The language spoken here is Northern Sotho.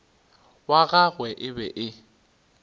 wa gagwe e be e